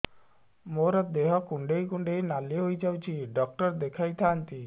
ମୋର ଦେହ କୁଣ୍ଡେଇ କୁଣ୍ଡେଇ ନାଲି ହୋଇଯାଉଛି ଡକ୍ଟର ଦେଖାଇ ଥାଆନ୍ତି